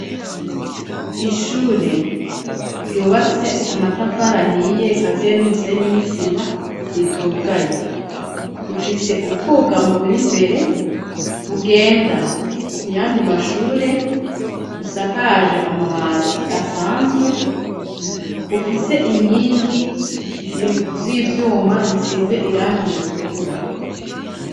Ishure ryubatse amatafarahiye kaziye n'umusenye n'isima ritugaye rifise ubwuga mu buri mbere bugenda ku yandi mashure busakaje amabati asanzwe bufise inkingi z'ivyuma zisize iranga ritukura.